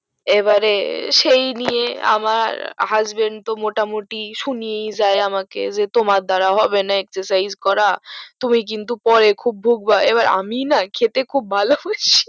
এবারে সেইনিয়ে আমার husband তো মোটা মুটি শুনিয়েইযাই আমাকে যে তোমার দ্বারা হবে না exercises করা তুমি কিন্তু পরে খুব ভুগবা এবার আমি না খেতে খুব ভালোবাসি